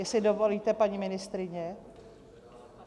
Jestli dovolíte, paní ministryně?